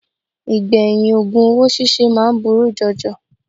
Ìgbẹ̀yìn ògùn owó síse máa ń burú jọjọ